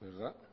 verdad